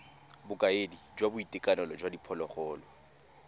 bokaedi jwa boitekanelo jwa diphologolo